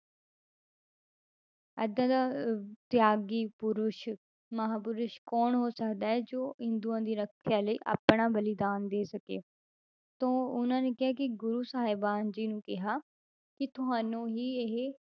ਏਦਾਂ ਦਾ ਅਹ ਤਿਆਗੀ ਪੁਰਸ਼ ਮਹਾਂਪੁਰਸ਼ ਕੌਣ ਹੋ ਸਕਦਾ ਹੈ ਜੋ ਹਿੰਦੂਆਂ ਦੀ ਰੱਖਿਆ ਲਈ ਆਪਣਾ ਬਲੀਦਾਨ ਦੇ ਸਕੇ, ਤਾਂ ਉਹਨਾਂ ਨੇ ਕਿਹਾ ਕਿ ਗੁਰੂ ਸਾਹਿਬਾਨ ਜੀ ਨੂੰ ਕਿਹਾ ਕਿ ਤੁਹਾਨੂੰ ਹੀ ਇਹ,